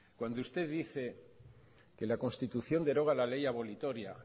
cuando usted dice que la constitución deroga la ley abolitoria